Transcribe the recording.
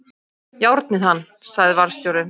Járnið hann! sagði varðstjórinn.